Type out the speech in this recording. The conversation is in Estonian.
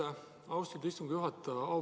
Aitäh, austatud istungi juhataja!